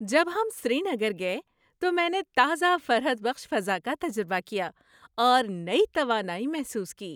جب ہم سری نگر گئے تو میں نے تازہ فرحت بخش فضا کا تجربہ کیا اور نئی توانائی محسوس کی۔